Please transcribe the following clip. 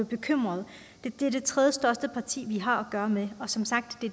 bekymret det er det tredjestørste parti vi har gøre med og som sagt er